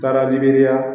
Baara